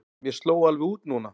Mér sló alveg út núna.